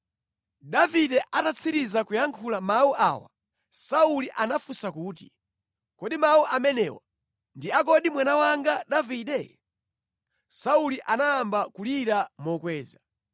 Davide atatsiriza kuyankhula mawu awa, Sauli anafunsa kuti, “Kodi mawu amenewa ndi akodi mwana wanga Davide?” Sauli anayamba kulira mokweza.